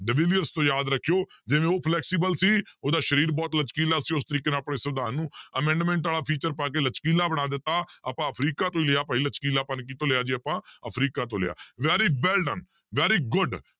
ਤੋਂ ਯਾਦ ਰੱਖਿਓ ਜਿਵੇਂ ਉਹ flexible ਸੀ ਉਹਦਾ ਸਰੀਰ ਬਹੁਤ ਲਚਕੀਲਾ ਸੀ ਉਸ ਤਰੀਕੇ ਨਾਲ ਆਪਣੇ ਸਵਿਧਾਨ ਨੂੰ amendment ਵਾਲਾ feature ਪਾ ਕੇ ਲਚਕੀਲਾ ਬਣਾ ਦਿੱਤਾ, ਆਪਾਂ ਅਫ਼ਰੀਕਾਂ ਤੋਂ ਲਿਆ ਭਾਈ ਲਚਕੀਲਾਪਣ ਕਿਹਤੋਂ ਲਿਆ ਜੀ ਆਪਾਂ ਅਫ਼ਰੀਕਾ ਤੋਂ ਲਿਆ very well done very good